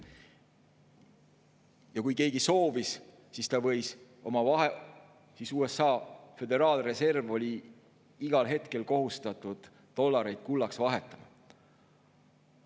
Ja kui keegi soovis, siis USA Föderaalreserv oli igal hetkel kohustatud dollareid kullaks vahetama.